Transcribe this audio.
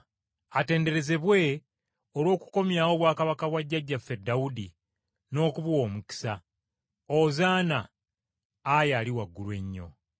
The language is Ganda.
“Atenderezebwe olw’okukomyawo obwakabaka bwa jjajjaffe Dawudi n’okubuwa omukisa!” “Ozaana! Ayi ali waggulu ennyo!”